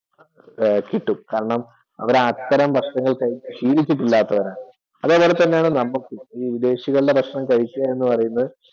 കിട്ടും കാരണം അവർ അത്തരം ഭക്ഷണം കഴിച്ചു ശീലിച്ചിട്ടല്ലാത്തവരാണ്. അതുപോലെ തന്നെ നമ്മൾക്കും ഈ വിദേശികളുടെ ഭക്ഷണം കഴിക്കുക എന്ന് പറയുന്നത്